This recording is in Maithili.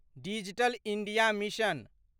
digital India mission